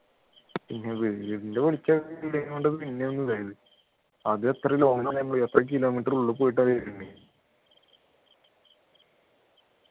പിന്നെ വീടിൻ്റെ വെളിച്ചമൊക്കെ കണ്ടപ്പോൾ പിന്നൊന്നു അത് എത്ര long ആണ് നമ്മള് എത്ര kilometer ഉള്ളി പോയിട്ട വരുന്ന